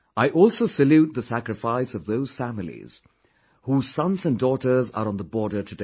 I also salute the sacrifice of those families, whose sons and daughters are on the border today